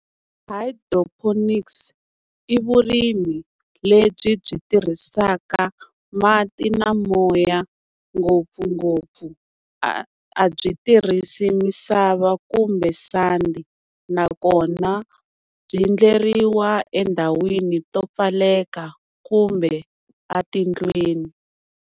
Hydroponics i vurimi lebyi byi tirhisaka mati na moya ngopfungopfu. A a byi tirhisi misava kumbe sandi nakona byi endleriwa endhawini to pfaleka kumbe a tindlwini.